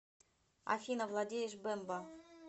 афина владеешь бемба